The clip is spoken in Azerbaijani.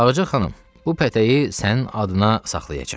Ağca xanım, bu pətəyi sənin adına saxlayacam.